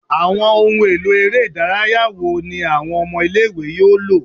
Awọn ohun elo ere idaraya wo ni awọn ọmọ ile-iwe yoo lo?